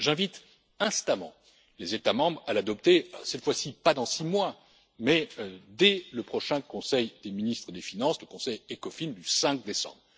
J'invite instamment les États membres à l'adopter cette fois ci, pas dans six mois, mais dès le prochain Conseil des ministres des finances, le Conseil Ecofin du 5 décembre.